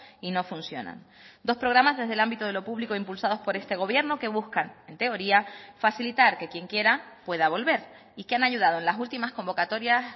y no funcionan dos programas desde el ámbito de lo público impulsados por este gobierno que buscan en teoría facilitar que quien quiera pueda volver y que han ayudado en las últimas convocatorias